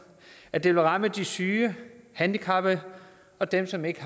at det ville ramme de syge handicappede og dem som ikke